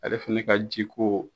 Ale fɛnɛ ka ji ko